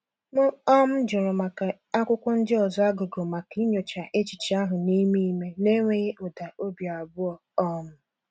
M um jụrụ maka akwụkwọ ndị ọzọ a gụgụ maka inyocha echiche ahụ n’ime ime n’enweghị ụda obi abụọ. um